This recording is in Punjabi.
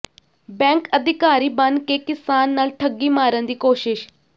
ਬੈਂਕ ਅਧਿਕਾਰੀ ਬਣ ਕੇ ਕਿਸਾਨ ਨਾਲ ਠੱਗੀ ਮਾਰਨ ਦੀ ਕੋਸ਼ਿਸ਼